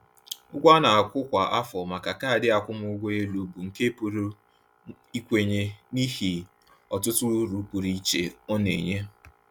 Ụgwọ a na-akwụ kwa afọ maka kaadị akwụmụgwọ elu bụ nke a pụrụ ikwenye n’ihi ọtụtụ uru pụrụ iche ọ na-enye.